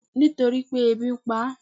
Nítorípé ebi npa á